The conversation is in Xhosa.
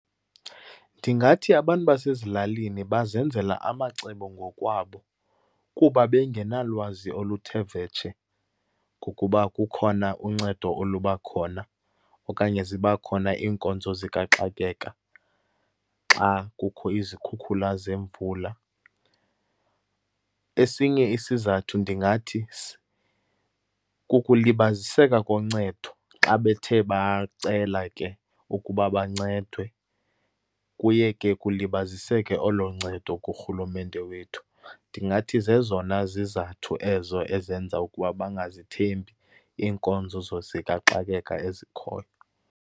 Ndingathi abantu basezilalini bazenzela amacebo ngokwabo, kuba bengenalwazi oluthe vetshe ngokuba kukhona uncedo oluba khona okanye ziba khona iinkonzo zikaxakeka xa kukho izikhukhula zemvula. Esinye isizathu, ndingathi kukulibaziseka koncedo, xa bethe bacela ke ukuba bancedwe. Kuye ke kulibaziseke olo ncedo kurhulumente wethu. Ndingathi zezona zizathu ezo ezenza ukuba bangazithembi iinkonzo zikaxakeka ezikhoyo.